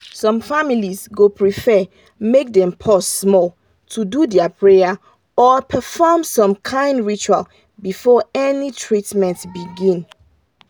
some families go prefer make dem pause small to do their prayer or perform some kind ritual before any treatment begin